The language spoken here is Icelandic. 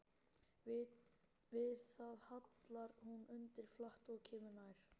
Við það hallar hún undir flatt og kemur nær.